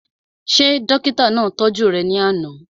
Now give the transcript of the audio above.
Ṣé dókítà náà tọ́jú rẹ̀ ní àná?